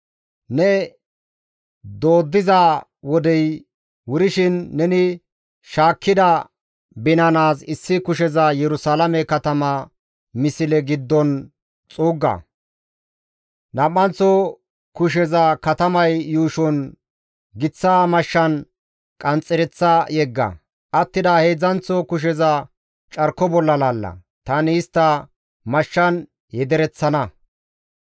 Ne dooddiza wodey wurshin neni shaakkida binanaas issi kusheza Yerusalaame katama misle giddon xuugga; nam7anththo kusheza katamay yuushon giththa mashshan qanxxereththa yegga; attida heedzdzanththo kusheza carko bolla laalla; tani istta mashshan yedereththana.